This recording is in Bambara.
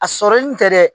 A sɔrɔli tɛ dɛ